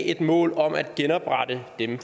et mål om at genoprette dem